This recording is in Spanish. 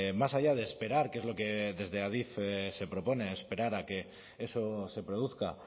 más allá de esperar qué es lo que desde adif se propone esperar a que eso se produzca